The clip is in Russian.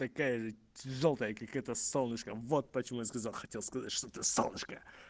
такая же жёлтая как это солнышко вот почему я сказал хотел сказать что это солнышко